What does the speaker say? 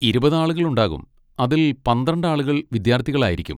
ഇരുപത് ആളുകളുണ്ടാകും, അതിൽ പന്ത്രണ്ട് ആളുകൾ വിദ്യാർത്ഥികളായിരിക്കും.